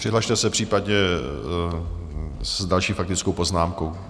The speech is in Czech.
Přihlaste se případně s další faktickou poznámkou.